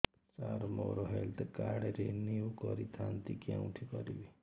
ସାର ମୋର health card renew କରିଥାନ୍ତି କେଉଁଠି କରିବି